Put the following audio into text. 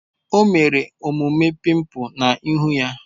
O mere omume pimples na ihu ya